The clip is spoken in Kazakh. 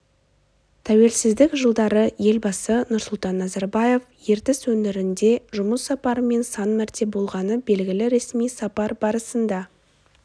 тәуелсіздік жылдары елбасы нұрсұлтан назарбаев ертіс өңірінде жұмыс сапарымен сан мәрте болғаны белгілі ресми сапар барысында